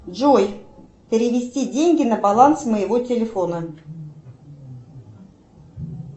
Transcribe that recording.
джой перевести деньги на баланс моего телефона